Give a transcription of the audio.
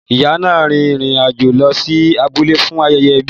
Ìyá náà rin ìrìn àjò lọ sí abúlé fún ayẹyẹ ẹbi.